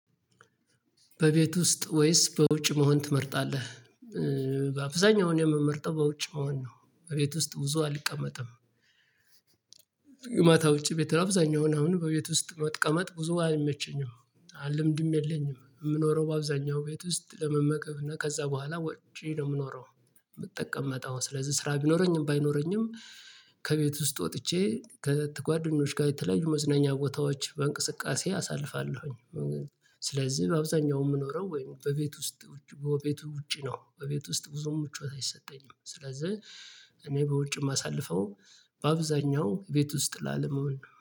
በቤት ውስጥ ወይስ በውጭ መሆን ትመርጣለህ? በአብዛኛው እኔ የምመርጠው በውጭ መሆን ነው በቤት ውስጥ ብዙ አልቀመጥም። የማታ ውጭ ቤት አብዛኛውን አሁን በቤት ውስጥ መቀመጥ ብዙ አይመቸኝም። አልምድም የለኝም ምኖረው በአብዛኛው ቤት ውስጥ ለመመገብ እና ከዛ በኋላ ወጪ ነው የምኖረው። ምጠቀመጠው ስለዚህ ስራ ቢኖረኝም ባይኖረኝም። ከቤት ውስጥ ወጥቼ ከጓደኞች ጋር የተለያዩ መዝናኛ ቦታዎች በእንቅስቃሴ አሳልፋለሁኝ። ስለዚህ በአብዛኛው የምኖረው ወይም በቤት ውስጥ ውጪ በቤት ውጪ ነው። በቤት ውስጥ ብዙም ምቾት አይሰጠኝም ስለዚህ። እኔ በውጭ የማሳልፈው በአብዛኛው ቤት ውስጥ ላለመሆን ነው